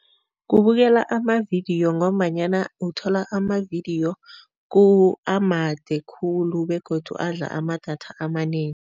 Kubukela amavidiyo ngombanyana uthola amavidiyo amade khulu begodu adla amadatha amanengi.